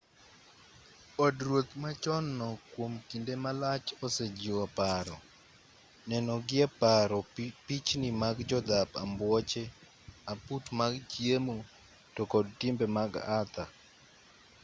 od ruoth machon no kuom kinde malach osejiwo paro neno gie paro pichni mag jodhap ambuoche aput mag chiemo to kod timbe mag arthur